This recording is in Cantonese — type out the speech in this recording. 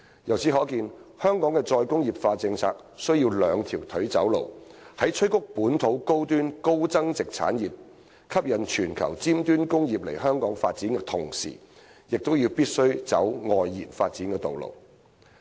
由此可見，香港的"再工業化"政策須"兩條腿走路"，在催谷本土高端、高增值產業，吸引全球尖端工業來港發展的同時，亦必須走"外延發展"的道路。